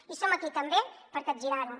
i som aquí també per capgirarho